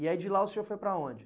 E aí de lá o senhor foi para onde?